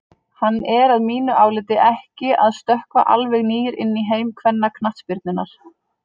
Hann er að mínu áliti ekki að stökkva alveg nýr inn í heim kvennaknattspyrnunnar.